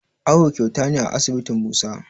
Awo kyauta ne a asibitin Musa